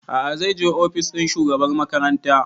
A'a zai je ofis ɗin shugabar makaranta